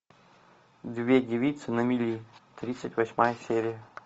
две девицы на мели тридцать восьмая серия